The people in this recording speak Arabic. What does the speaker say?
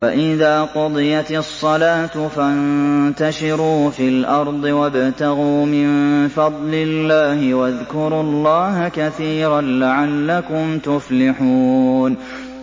فَإِذَا قُضِيَتِ الصَّلَاةُ فَانتَشِرُوا فِي الْأَرْضِ وَابْتَغُوا مِن فَضْلِ اللَّهِ وَاذْكُرُوا اللَّهَ كَثِيرًا لَّعَلَّكُمْ تُفْلِحُونَ